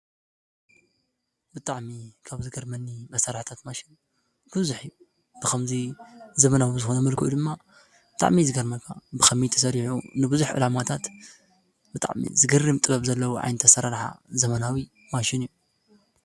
ብጣዕሚ ከምዝገርመኒ መሳርሒታት ማሽን ብዙሕ ብከምዚ ዘበናዊ ዝኾነ መልክዑ ድማ ብጣዕሚ እዩ ።ዝገርመኒ ብከመይ ተሰሪሑ ንቡዝሕ ዕላማታት ብጣዕሚ ዝገርም ጥበብ ዘለዎ ዓይነት ኣሰራርሓ ዘበናዊ ማሽን እዩ።